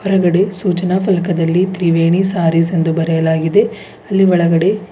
ಅಂಗಡಿ ಸೂಚನಾ ಫಲಕದಲ್ಲಿ ತ್ರಿವೇಣಿ ಸಾರೀಸ್ ಎಂದು ಬರೆಯಲಾಗಿದೆ ಅಲ್ಲಿ ಒಳಗಡೆ--